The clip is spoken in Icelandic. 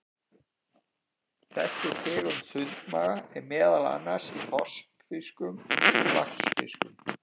Þessi tegund sundmaga er meðal annars í þorskfiskum og laxfiskum.